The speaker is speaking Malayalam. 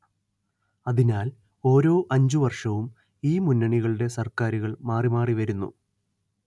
അതിനാൽ ഓരോ അഞ്ച് വർഷവും ഈ മുന്നണികളുടെ സർക്കാരുകൾ മാറി മാറി വരുന്നു